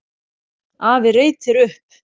Afi reytir upp.